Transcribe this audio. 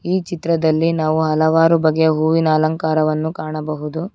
ಈ ಚಿತ್ರದಲ್ಲಿ ನಾವು ಹಲವಾರು ಬಗೆಯ ಹೂವಿನ ಅಲಂಕಾರವನ್ನು ಕಾಣಬಹುದು.